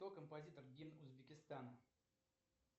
кто композитор гимн узбекистана